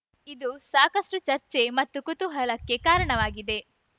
ಇದು ಸಾಕಷ್ಟುಚರ್ಚೆ ಮತ್ತು ಕುತೂಹಲಕ್ಕೆ ಕಾರಣವಾಗಿದೆ